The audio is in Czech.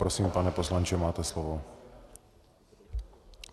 Prosím, pane poslanče, máte slovo.